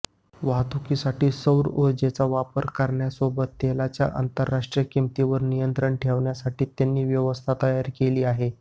वाहतुकीसाठी सौर ऊर्जेचा वापर करण्यासोबत तेलाच्या आंतरराष्ट्रीय किंमतींवर नियंत्रण ठेवण्यासाठी त्यांनी व्यवस्था तयार केली आहे